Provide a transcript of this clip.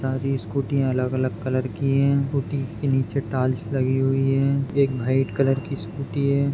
सारी स्कूटि अलग अलग कलर की है स्कूटी के नीचे टाइल्स लगी हुई है एक व्हाइट कलर की स्कूटी है।